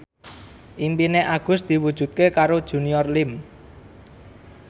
impine Agus diwujudke karo Junior Liem